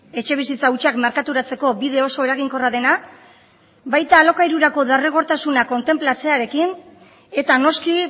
etxebizitza hutsak merkaturatzeko bide oso eraginkorra dena baita alokairuko derrigortasuna kontenplatzearekin eta noski